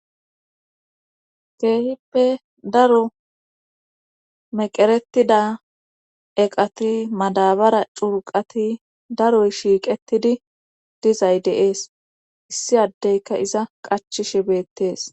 keehippe daro meqeretida eqati madabara curqati daroy shiiqetidi dizay deees issi addeyka iza qachishe beettees